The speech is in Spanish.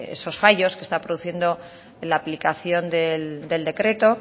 esos fallos que está produciendo la aplicación del decreto